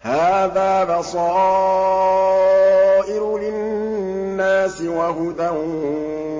هَٰذَا بَصَائِرُ لِلنَّاسِ وَهُدًى